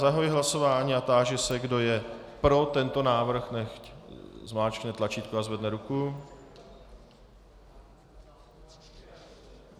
Zahajuji hlasování a táži se, kdo je pro tento návrh, nechť zmáčkne tlačítko a zvedne ruku.